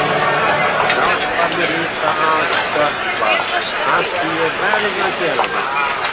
Hjálpar mér líka að stökkva afþvíað ég verð að gera það.